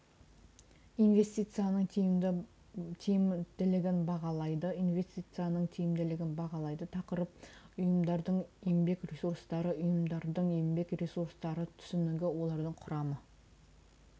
инвестицияның тиімділігін бағалайды инвестицияның тиімділігін бағалайды тақырып ұйымдардың еңбек ресурстары ұйымдардың еңбек ресурстары түсінігі олардың құрамы